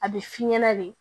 A bɛ f'i ɲɛna de